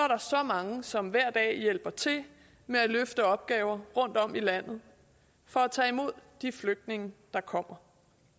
mange som hver dag hjælper til med at løfte opgaver rundtom i landet for at tage imod de flygtninge der kommer